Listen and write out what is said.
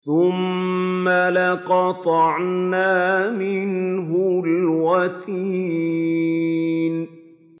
ثُمَّ لَقَطَعْنَا مِنْهُ الْوَتِينَ